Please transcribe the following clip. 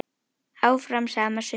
Áfram sama sukkið?